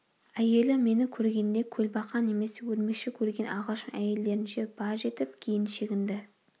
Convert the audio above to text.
әйелі мені көргенде көлбақа немесе өрмекші көрген ағылшын әйелдерінше баж етіп кейін шегінді